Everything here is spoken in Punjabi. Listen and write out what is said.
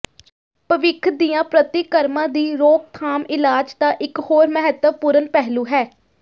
ਭਵਿੱਖ ਦੀਆਂ ਪ੍ਰਤੀਕਰਮਾਂ ਦੀ ਰੋਕਥਾਮ ਇਲਾਜ ਦਾ ਇੱਕ ਹੋਰ ਮਹੱਤਵਪੂਰਣ ਪਹਿਲੂ ਹੈ